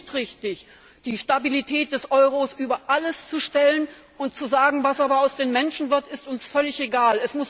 Es war nicht richtig, die Stabilität des Euro über alles zu stellen und zu sagen, was aus den Menschen wird, ist uns völlig egal.